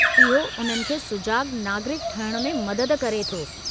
इहो उन्हनि खे सुजाॻु नागरिकु ठहिण में मदद करे थो।